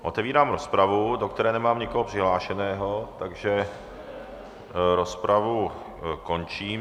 Otevírám rozpravu, do které nemám nikoho přihlášeného, takže rozpravu končím.